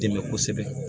Dɛmɛ kosɛbɛ